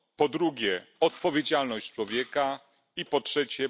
Po drugie odpowiedzialność człowieka i po trzecie...